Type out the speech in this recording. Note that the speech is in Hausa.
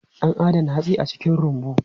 An adana hatsi a cikin rumbu.